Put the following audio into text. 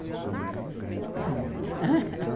a mãe era uma grande cozinheira,